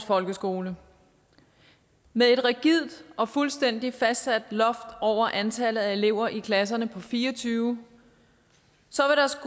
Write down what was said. folkeskole med et rigidt og fuldstændig fastsat loft over antallet af elever i klasserne på fire og tyve